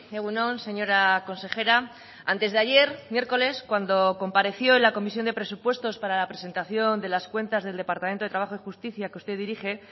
egun on señora consejera antes de ayer miércoles cuando compareció en la comisión de presupuestos para la presentación de las cuentas del departamento de trabajo y justicia que usted dirige